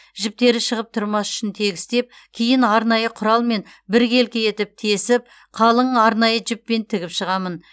жіптері шығып тұрмас үшін тегістеп кейін арнайы құралмен біркелкі етіп тесіп қалың арнайы жіппен тігіп шығамын